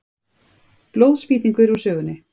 Blóðspýtingur úr sögunni.